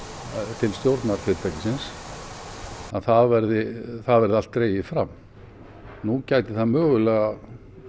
til stjórnar fyrirtækisins að það verði það verði allt dregið fram nú gæti það mögulega